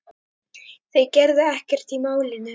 Þeir gerðu ekkert í málinu.